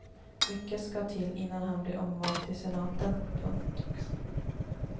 Mycket ska till innan han blir omvald till senaten. punkt